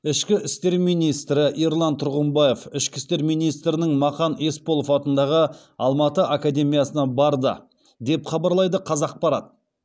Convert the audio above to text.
ішкі істер министрі ерлан тұрғымбаев ішкі істер министрінің мақан есболатов атындағы алматы академиясына барды деп хабарлайды қазақпарат